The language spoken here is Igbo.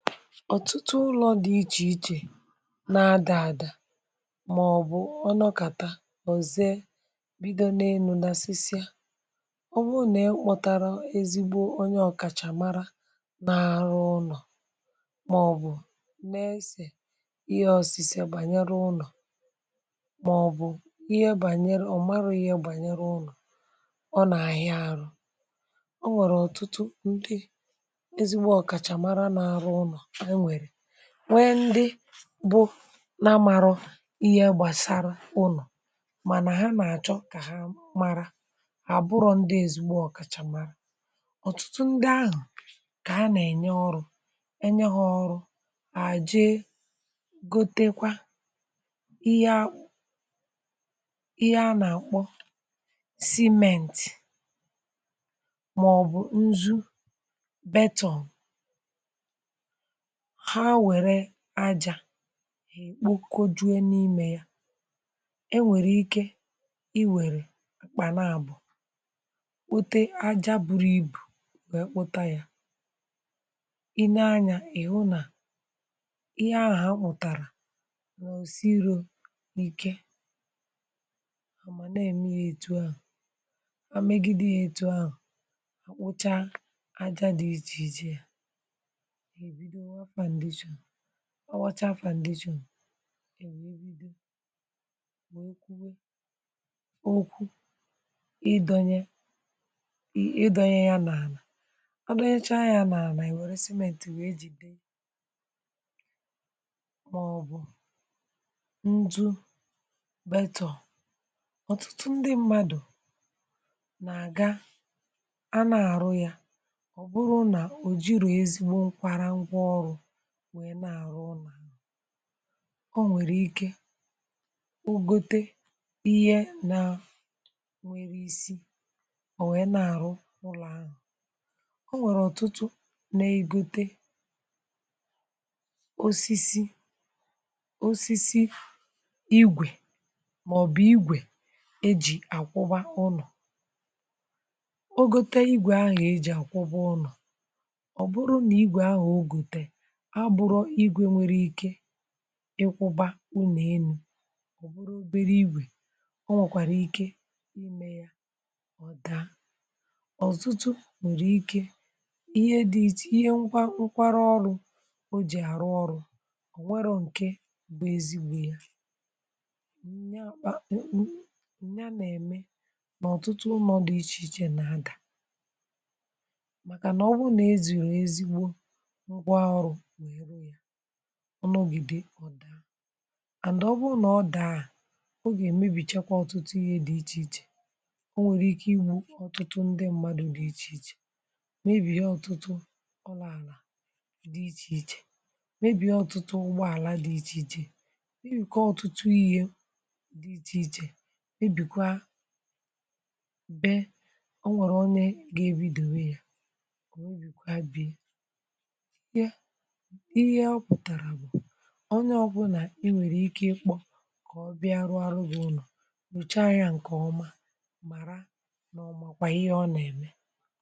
Ọtụtụ ụlọ dị icheichè na-adààdà màọ̀bụ̀ ọ nọkàtà ọzee bido n 'enu dasịsịa,ọ bụrụ nà ịkpọtarà ezigbo onye ọ̀kàchà màrà n’arụ ụnọ̀ màọ̀bụ̀ n’esė ihe osise banyere ụnọ̀ màọ̀bụ̀ ihe bànyere, ọ̀ marụ̀ ihe bànyere ụnọ̀ ọ nà àhịa àrụ, ọ nwèrè ọ̀tụtụ nde ezigbo ọkachamara na-arụ ụnọ enwere ,nwee ndị bụ na amarọ ihe gbasara ụnọ, mana ha na-achọ ka ha mara, abụrọ ndị ezigbo ọkachamara, ọtụtụ ndị ahụ ka ha na-enye ọrụ enye ha ọrụ, ha jee gotekwa ihe a ihe a na-akpọ simenti maọbụ nzu beton, ha were aja ha kpụkọjuo n’ime ya, enwere ike i were kpanaabụ kpute aja buru ibù wee kpụta ya ,i nee anya ị hụ na ihe ahụ ha kpụtara n’osiro ike amanaeme ya etu ahụ a megide ya etu ahụ kpụcha aja dị iche iche ,ebido waa foundation, ọ wachaa foundation, okwu ịdọnye ị ịdọnyẹ ya n’àlà, ọ dọnyechaa ya n’àlà owèrè cement wèe jì dee ya mà ọ̀ bụ̀ nzu betọ̀n. Ọtụtụ ndị mmadụ̀ nà-àga a na-àrụ ya ọ̀ bụ̀rụ̀ nà ò jìrọ ezigbo nkwara ngwaọrụ wee na-arụ ya ,o nwere ike o gote ihe na enwere isi wee na-arụ ụlọ̀ ahụ̀ .O nwere ọtụtụ na-egote osisi osisi igwe maọ̀bụ̀ igwe eji akwụba ụnọ, o gote igwe ahụ̀ eji akwụba ụnọ̀ ,ọ bụrụ na igwe ahụ̀ ogotere abụrọ igwe nwere ike ịkwụba uno elu obere igwè ,ọ nwọkwàrà ike mee ya ọ daa. Ọtụtụ nwèrè ike ihe dị iche ihe nkwa nkwara ọrụ o ji àrụ ọrụ onwerọ ǹke bụ̀ ezigbo ya ,mm nya àkpa ǹnnya n’ème ka ọ̀tụtụ uno dị ichè ichè na-adà màkà nà ọbụrụ nà ezùrù ezigbo ngwaọrụ wee rụ ya ọnọgide ọ̀dà and ọ bụrụ nà ọ dàa, ọ gà èmebì chakwa ọ̀tụtụ ihe dị ichè ichè, ọ nwèrè ike igbu ọ̀tụtụ ndị mmadụ̀ dị ichè ichè, mebhie ọ̀tụtụ ụlọ ala dị ichè ichè, mebie ọ̀tụtụ ụgbọ àla dị ichè ichè, mebikọ ọ̀tụtụ ihe dị ichè ichè, mebikwa bee, o nwèrè onye ga ebidèwe ya, o mebikwa bee ya. Ihe ọ pụtara bụ̀, onye ọbụla inwere ike ịkpọ kọ ọbịa rụọrọ gị ụlọ, chochaa ya ǹkè ọma màra nà ọ makwà ihe ọ nà-ème.